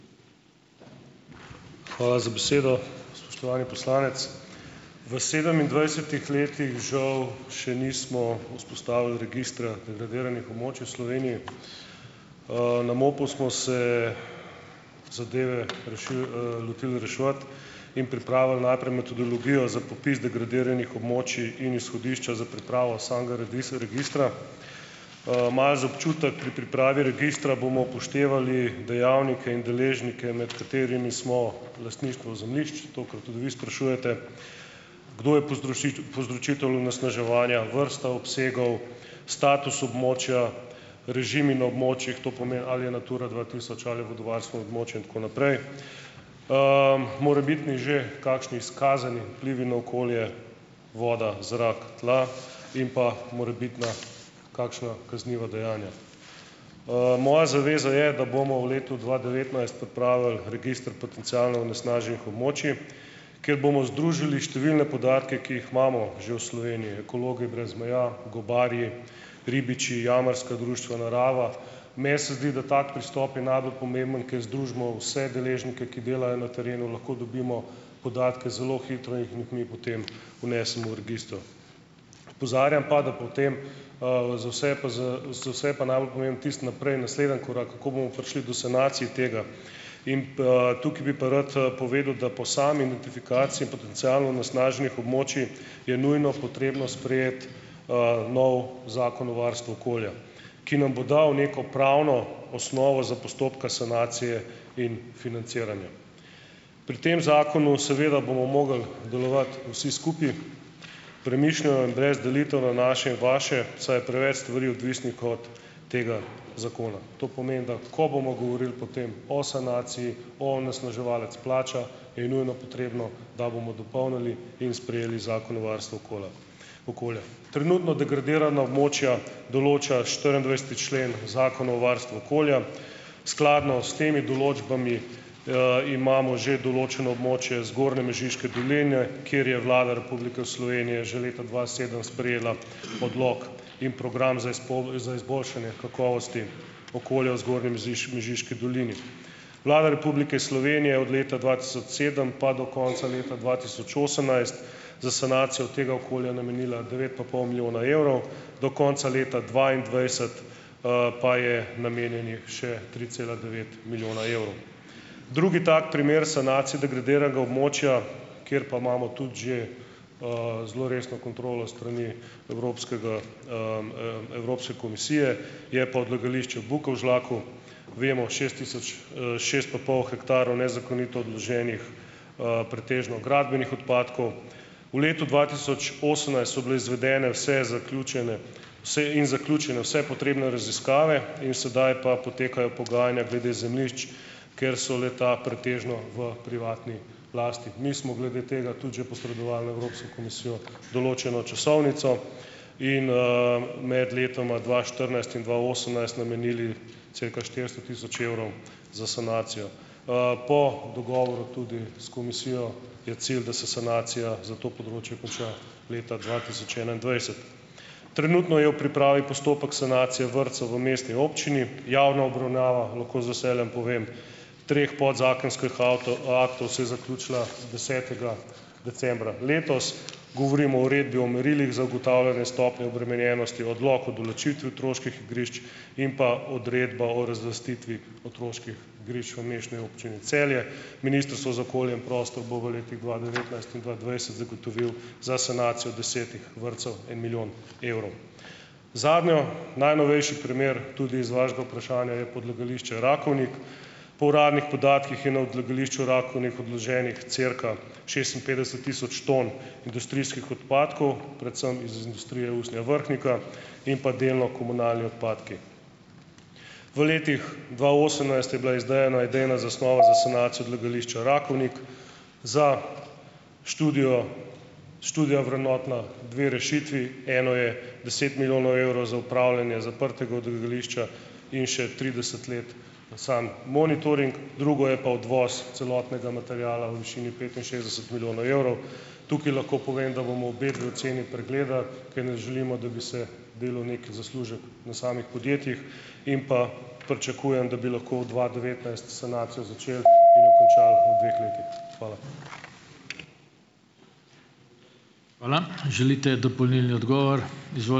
Hvala za besedo. Spoštovani poslanec. V sedemindvajsetih letih žal še nismo vzpostavili registra degradiranih območij v Sloveniji. Na MOP-u smo se zadeve rešili, lotili reševati in pripravili najprej metodologijo za popis degradiranih območij in izhodišča za pripravo samega registra. Malo za občutek - pri pripravi registra bomo upoštevali dejavnike in deležnike, med katerimi smo lastništvo zemljišč - to, kar tudi vi sprašujete -, kdo je povzročitelj onesnaževanja, vrsta obsegov, status območja, režimi na območjih - to pomeni, ali je Natura dva tisoč ali je vodovarstveno območje in tako naprej -, morebitni že kakšni izkazani vplivi na okolje, voda, zrak, tla. In pa morebitna kakšna kazniva dejanja. Moja zaveza je, da bomo v letu dva devetnajst pripravili register potencialno onesnaženih območij, kjer bomo združili številne podatke, ki jih imamo že v Sloveniji. Ekologi brez meja, gobarji, ribiči, jamarska društva, narava - meni se zdi, da tak pristop je najbolj pomemben, ker združimo vse deležnike, ki delajo na terenu, lahko dobimo podatke zelo hitro in jih jih mi potem vnesemo v register. Opozarjam pa, da potem, za vse pa z, za vse pa najbolj pomembno tisto naprej, naslednji korak, kako bomo prišli do sanacij tega. In pa tukaj bi pa rad, povedal, da po sami notifikaciji in potencialno onesnaženih območij je nujno potrebno sprejeti, novi zakon o varstvu okolja, ki nam bo dal neko pravno osnovo za postopka sanacije in financiranja. Pri tem zakonu seveda bomo mogli delovati vsi skupaj, premišljeno in brez delitev na naše in vaše, saj je preveč stvari odvisnih od tega zakona. To pomeni, da ko bomo govorili potem o sanaciji, onesnaževalec plača je nujno potrebno, da bomo dopolnili in sprejeli Zakon o varstvu okolja okolja. Trenutno degradirana območja določa štiriindvajseti člen Zakona o varstvu okolja. Skladno s temi določbami, imamo že določeno območje zgornje Mežiške doline, kjer je Vlada Republike v Slovenije že leta dva sedem sprejela odlok in program za izboljšanje kakovosti okolja v zgornji Mežiški dolini. Vlada Republike Slovenije je od leta dva tisoč sedem pa do konca leta dva tisoč osemnajst za sanacijo tega okolja namenila devet pa pol milijona evrov, do konca leta dvaindvajset, pa je namenjenih še tri cela devet milijona evrov. Drugi tak primer sanacije degradiranega območja, kjer pa imamo tudi že, zelo resno kontrolo s strani Evropskega, Evropske komisije je pa odlagališče Bukovžlaku. Vemo, šest tisoč, šest pa pol hektarov nezakonito odloženih, pretežno gradbenih odpadkov. V letu dva tisoč osemnajst so bile izvedene vse zaključene vse in zaključene vse potrebne raziskave. In sedaj pa potekajo pogajanja glede zemljišč, ker so le-ta pretežno v privatni lasti. Mi smo glede tega tudi že posredovali Evropski komisiji določeno časovnico. In, Med letoma dva štirinajst in dva osemnajst namenili cirka štiristo tisoč evrov za sanacijo. Po dogovoru tudi s komisijo je cilj, da se sanacija za to področje konča leta dva tisoč enaindvajset. Trenutno je v pripravi postopek sanacije vrtcev v mestni občini, javna obravnava. Lahko z veseljem povem, treh podzakonskih avtov aktov se je zaključila desetega decembra letos. Govorim o uredbi o merilih za ugotavljanje stopnje obremenjenosti, odlok o določitvi otroških igrišč in pa odredba o razlastitvi otroških igrišč v Mestni občini Celje. Ministrstvo za okolje in prostor bo v letih dva devetnajst in dva dvajset zagotovilo za sanacijo desetih vrtcev en milijon evrov. Zadnji najnovejši primer tudi iz vašega vprašanja je pa odlagališče Rakovnik. Po uradnih podatkih je na odlagališču Rakovnik odloženih cirka šestinpetdeset tisoč ton industrijskih odpadkov, predvsem iz Industrije usnja Vrhnika in pa delno komunalni odpadki. V letih dva osemnajst je bila izdelana idejna zasnova za sanacijo odlagališča Rakovnik. Za študijo, študija vrednotna, dve rešitvi, eno je deset milijonov evrov za upravljanje zaprtega odlagališča in še trideset let samo monitoring. Drugo je pa odvoz celotnega materiala v višini petinšestdeset milijonov evrov. Tukaj lahko povem, da bomo obedve oceni pregledali, ker ne želimo, da bi se delal neki zaslužek na samih podjetjih, in pa pričakujem, da bi lahko v dva devetnajst s sanacijo začeli in jo končali v dveh letih. Hvala.